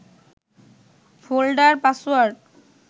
folder password